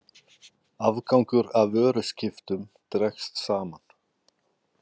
Afgangur af vöruskiptum dregst saman